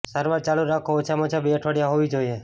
સારવાર ચાલુ રાખો ઓછામાં ઓછા બે અઠવાડિયા હોવી જોઈએ